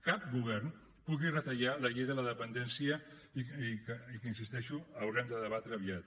cap govern pugui retallar la llei de la dependència i que hi insisteixo haurem de debatre aviat